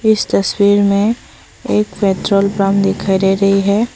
इस तस्वीर में एक पेट्रोल पंप दिखाई दे रही है।